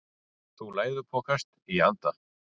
Þú læðupokast í anda.